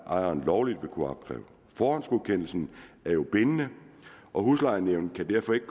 ejeren lovligt vil kunne opkræve forhåndsgodkendelsen er jo bindende og huslejenævnet kan derfor ikke